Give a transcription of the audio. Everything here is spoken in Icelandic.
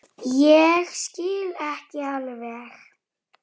Svo var farið að syngja.